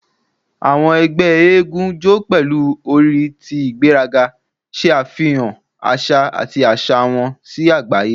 "Awọn ẹgbẹ masquerade jó pẹlu ori ti igberaga, ṣe afihan aṣa ati aṣa wọn si agbaye. "